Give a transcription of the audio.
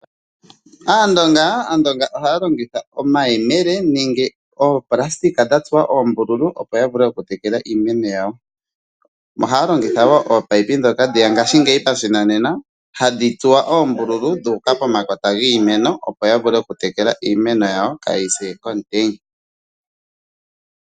Aandonga ohaya longitha omayemele nenge oopulasitika dha tsuwa oombululu, opo ya vule okutekela iimeno yawo. Ohaya longitha wo ominino ndhoka dheya ngashingeyi pashinanena hadhi tsuwa oombululu dhu uka pomakota giimeno, opo ya vule okutekela iimeno yawo kaayise komutenya.